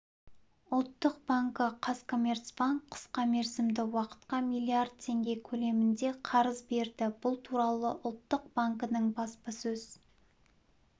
ұлттық банкі қазкоммерцбанк қысқа мерзімді уақытқа миллиард теңге көлемінде қарыз берді бұл туралы ұлттық банкінің баспасөз